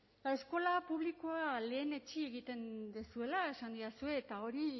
eta eskola publikoa lehenetsi egiten duzuela esan didazue eta hori